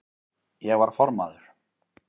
Ég var formaður